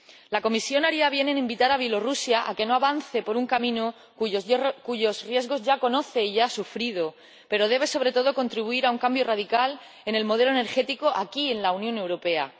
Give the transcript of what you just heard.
La Comisión haría bien en invitar a Bielorrusia a que no avance por un camino cuyos riesgos ya conoce y ya ha sufrido, pero debe, sobre todo, contribuir a un cambio radical en el modelo energético aquí, en la Unión Europea.